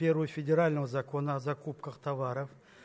первый федерального закона о закупках товаров